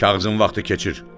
Kağızın vaxtı keçir.